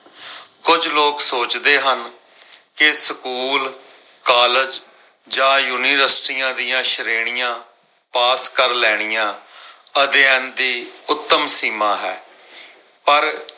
ਕੁਝ ਲੋਗ ਸੋਚਦੇ ਹਨ ਕੇ ਸਕੂਲ, ਕਾਲਜ ਜਾ ਯੂਨੀਵਰਸਿਟੀਆਂ ਦੀਆਂ ਸ਼੍ਰੇਣੀਆਂ ਪਾਸ ਕਰ ਲੈਣੀਆਂ ਅਧਿਐਨ ਦੀ ਉਤਮ ਸੀਮਾਂ ਹੈ ਪਰ